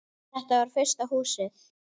Þetta var fyrsta Húsið.